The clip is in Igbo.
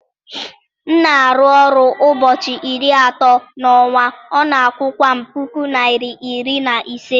m na-arụ ọrụ ụbọchị iri atọ n'ọnwa, ọ na-akwụkwa m puku naira iri na ise